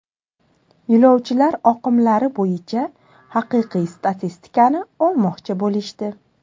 Yo‘lovchilar oqimlari bo‘yicha haqiqiy statistikani olmoqchi bo‘lishdi.